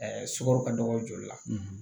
sukaro ka dɔgɔ joli la